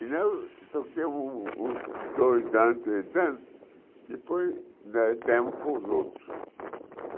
E uns dois anos tentando, depois nós demos para os outros.